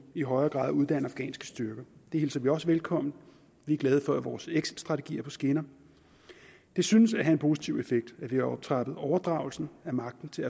i højere grad at uddanne afghanske styrker det hilser vi også velkommen vi er glade for at vores exitstrategi er på skinner det synes at have en positiv effekt at vi har optrappet overdragelsen af magten til